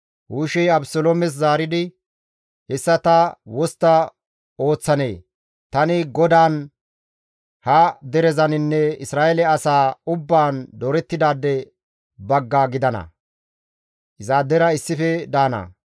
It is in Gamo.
Hushey Abeseloomes zaaridi, «Hessa ta wostta ooththanee? Tani GODAAN, ha derezaninne Isra7eele asaa ubbaan doorettidaade bagga gidana; izaadera issife daana.